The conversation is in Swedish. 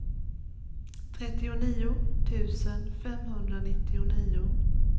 trettionio tusen femhundranittionio